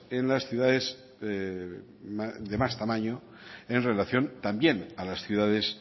en las ciudades de más tamaño en relación también a las ciudades